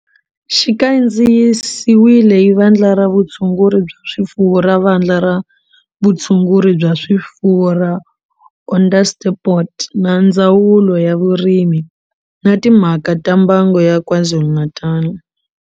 Xi kandziyisiwe hi Vandla ra Vutshunguri bya swifuwo ra Vandla ra Vutshunguri bya swifuwo ra Onderstepoort na Ndzawulo ya Vurimi na Timhaka ta Mbango ya KwaZulu-Natal.